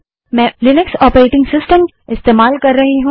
मैं Linux operating system इस्तेमाल कर रही हूँ